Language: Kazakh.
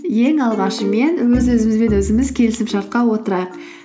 ең алғашымен өз өзіміз бен өзіміз келісімшартқа отырайық